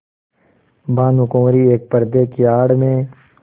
भानुकुँवरि एक पर्दे की आड़ में